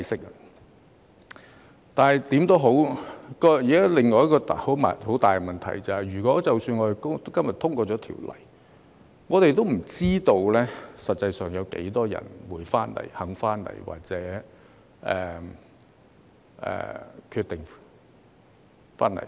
無論如何，目前有另一個很大的問題，就是即使今日條例獲得通過，我們也不知道實際有多少人會回來、願意回來或決定回來。